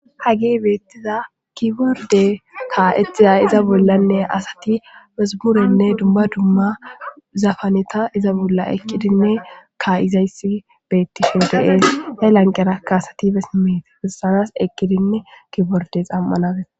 Hage beettiza kiborde kaa7exizay iza bollanne asati mesimurenne dumba dumma zafaneta iza bolla ekkidinne ka7izayssi beettishoodeees he lanqerakka asati besimeeti issanas eqqidinne kiborde xam7anabe.